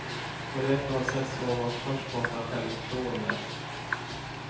Och det är på något sätt som om man först måste ha självförtroende.